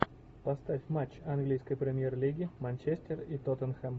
поставь матч английской премьер лиги манчестер и тоттенхэм